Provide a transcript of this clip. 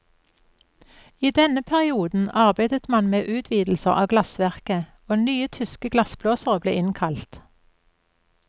I denne perioden arbeidet man med utvidelser av glassverket, og nye tyske glassblåsere ble innkalt.